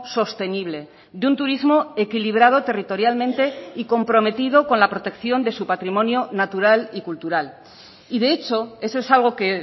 sostenible de un turismo equilibrado territorialmente y comprometido con la protección de su patrimonio natural y cultural y de hecho eso es algo que